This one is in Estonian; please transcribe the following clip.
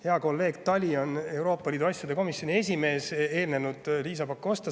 Hea kolleeg Tali, Euroopa Liidu asjade komisjoni esimees, paneb pidurit nendele asjadele juba eelnevalt.